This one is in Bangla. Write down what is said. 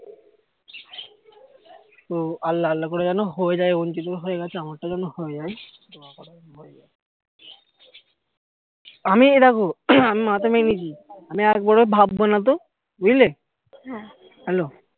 তো আল্লাহ আল্লাহ করে যেন হয়ে যায় অঞ্চিত এর ও হয়ে গেছে আমার টাও যেন হয়ে যায় আমি এ দেখো আমি মাথা মেনেছি আমি একবারও ভাববো না তো বুঝলে hello